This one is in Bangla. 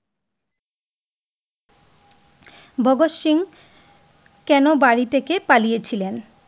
ভাগত সিং কেন বাড়ি থেকে পালিয়ে ছিলেন?